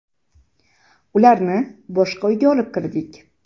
Ularni boshqa uyga olib kirdik.